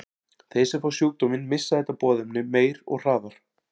Þeir sem fá sjúkdóminn missa þetta boðefni mun meira og hraðar.